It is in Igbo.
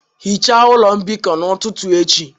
Hichaa ụlọ mbikọ n'ụtụtụ echi